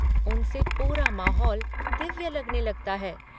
उनसे पूरा माहौल दिव्य लगने लगता है।